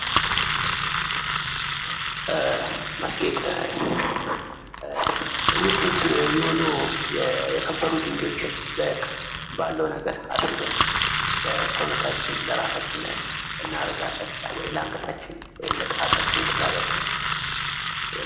ማስጌጥ ውድ ውድ የሆኑ የከበሩ ድንጋዮችን በቅርጽ ባለው ነገር አስውበን ለሰውነታችን ለራሳችን እናረጋለን ለንገታችን ወይ ለጣታችን ቀለበት